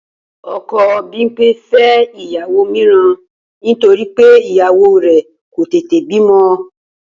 O̩ko̩ Bímpé fé̩ ìyàwó mìíràn nítorí pé ìyàwó rè̩ kò tètè bímo̩